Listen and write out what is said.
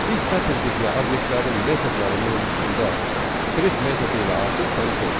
Biz sətr tipli obyektlərin metodları mövzusunda strip metodu ilə artıq tanış olduq.